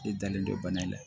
E dalen don bana in na